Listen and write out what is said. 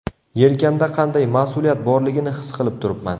Yelkamda qanday mas’uliyat borligini his qilib turibman.